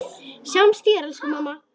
Sjáumst síðar, elsku amma.